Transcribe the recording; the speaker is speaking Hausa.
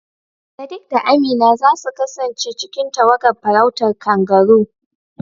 Sadiq da Amina za su kasance cikin tawagar farautar kangaroo